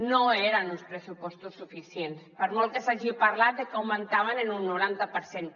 no eren uns pressupostos suficients per molt que s’hagi parlat de que augmentaven en un noranta per cent